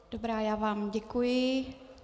Dobrá, já vám děkuji.